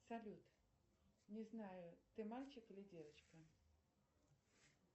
салют не знаю ты мальчик или девочка